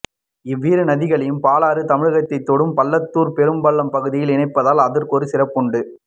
இவ்விரு நதிகளையும் பாலாறு தமிழகத்தைத் தொடும் பள்ளத்தூர் பெரும்பள்ளம் பகுதியில் இணைப்பதால் அதற்கொரு சிறப்புண்டு